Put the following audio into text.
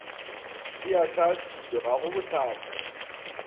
e ahlaahlilwe ga go bohlatse